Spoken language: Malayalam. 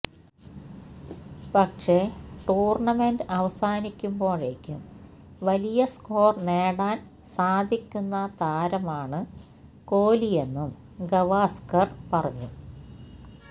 പക്ഷേ ടൂര്ണമെന്റ് അവസാനിക്കുമ്പോഴേക്കും വലിയ സ്കോര് നേടാന് സാധിക്കുന്ന താരമാണ് കോലിയെന്നും ഗവാസ്കര് പറഞ്ഞു